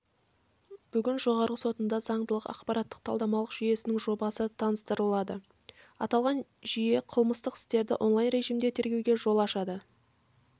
бүгін жоғарғы сотында заңдылық ақпараттық-талдамалық жүйесінің жобасы таныстырылды аталған жүйеқылмыстық істерді онлайн режімде тергеуге жол ашады